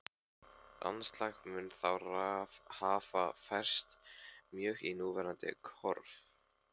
Landslag mun þá hafa færst mjög í núverandi horf.